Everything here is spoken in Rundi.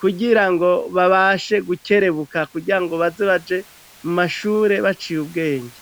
kugira ngo babashe gukerebuka kugira ngo bazibaje mu mashure baciye ubwenge.